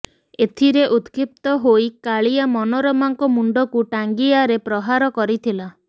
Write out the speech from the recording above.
ଏଥିରେ ଉତ୍କ୍ଷିପ୍ତ ହୋଇ କାଳିଆ ମନୋରମାଙ୍କ ମୁଣ୍ଡକୁ ଟାଙ୍ଗିଆରେ ପ୍ରହାର କରିଥିଲା